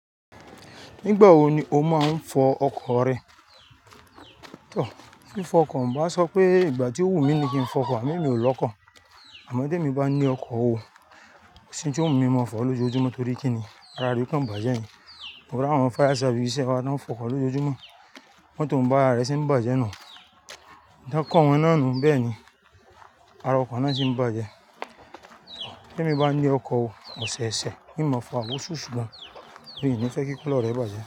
Nígbà wo ni o máa ń fọ ọkọ̀ rẹ? Tọ, fífọ ọkọ̀, n bá sọ pé ìgbà tí ó wù mí ni kí n fọ ọkọ̀ àmo emi ò lọkọ̀. Àmọ́ tí èmi bá ní ọkọ̀ o, kòsí n tí ó mú mi mọ́ọ fọ̀ ọ́ lójojúmọ́ torí kí ni ara rẹ̀ ó kàn bàjẹ́ ni. To rí àwọn fire service ibi ṣẹ̀ wa, tán ń fọ ọkọ̀ lójojúmọ́, motor n bá ara rẹ̀ ṣe ń bàjẹ́ nù u Ǹ bí wọ́n kọ́ wọn náà nu bẹ́ẹ̀ ni ara ọkọ̀ náà ṣí ń bàjẹ́. Tí èmi bá ní ọkọ̀ òwò ọ̀sẹ̀ẹ̀sẹ̀, kì í máa fọ̀ o ṣú ṣùgbọ́n èmi ni fẹ́ kí kílóòlù rẹ̀ bàjẹ́.